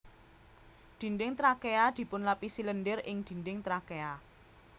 Dinding trakea dipunlapisi lendir ing dinding trakea